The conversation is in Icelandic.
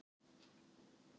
Ég kann ekki á það.